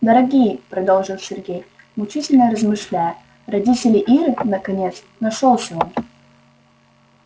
дорогие продолжил сергей мучительно размышляя родители иры наконец нашёлся он